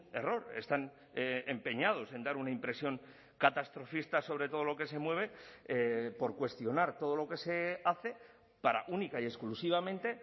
error están empeñados en dar una impresión catastrofista sobre todo lo que se mueve por cuestionar todo lo que se hace para única y exclusivamente